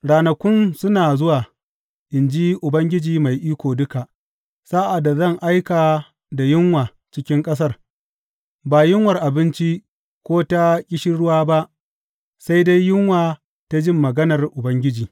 Ranakun suna zuwa, in ji Ubangiji Mai Iko Duka, sa’ad da zan aika da yunwa cikin ƙasar, ba yunwar abinci ko ta ƙishirwa ba, sai dai yunwa ta jin maganar Ubangiji.